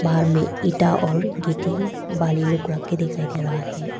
बाहर में ईटा और गिट्टी बालू लोग रखे दिखाई दे रहा है।